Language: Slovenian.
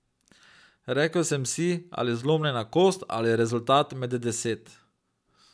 Rekel sem si, ali zlomljena kost ali rezultat med deset.